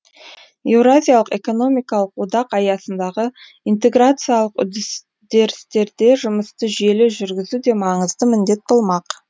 еуразиялық экономикалық одақ аясындағы интеграциялық үдерістерде жұмысты жүйелі жүргізу де маңызды міндет болмақ